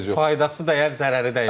Faydası dəyər, zərəri dəyər, heç olmasa.